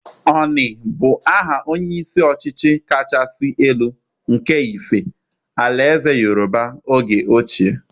Oni bu aha onye isi ọchịchị kachasị elu nke Ife, àlà ézè Yorùbá oge ochie.